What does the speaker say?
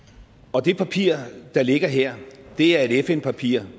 og det papir der ligger her er et fn papir